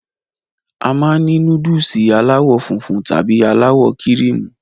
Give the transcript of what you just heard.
A máa n ni núdùùsì alàwọ funfun tàbí àwọ kíríímù